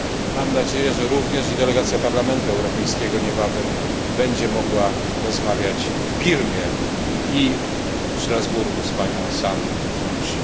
Mam nadzieję, że również delegacja Parlamentu Europejskiego niebawem będzie mogła rozmawiać w Birmie i w Strasburgu z panią San Suu Kyi.